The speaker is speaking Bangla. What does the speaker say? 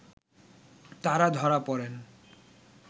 তারা ধরা পড়েন